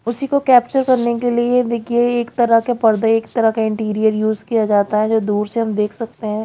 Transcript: उसी को को कैप्चर करने के लिए देखिए एक तरह के पर्दे एक तरह का इंटीरियर यूज़ किया जाता है जो दूर से हम देख सकते हैं।